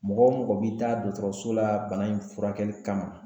Mɔgɔ mɔgɔ bi taa dɔgɔtɔrɔso la bana in furakɛli kama